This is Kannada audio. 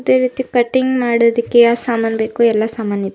ಅದೇ ರೀತಿ ಕಟಿಂಗ್ ಮಾಡೋದಿಕ್ಕೆ ಯಾವ್ ಸಮಾನ್ ಬೇಕೋ ಎಲ್ಲಾ ಸಾಮಾನ್ ಇದೆ.